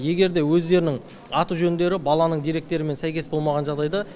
егер де өздерінің аты жөндері баланың деректерімен сәйкес болмаған жағдайда